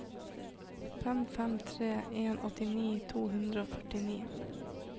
fem fem tre en åttini to hundre og førtini